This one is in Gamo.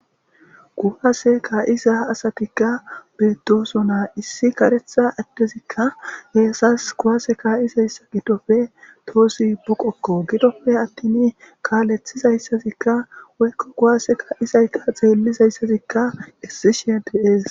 Kuwase kaizza asatika bettosona issi kareththa adezika kuwase kaizayssa gidoppe tohozi buqqoko gidoppe attin kaleththizaysazika woykko kuwase kaizaytta xelizaysazika essishe de7es.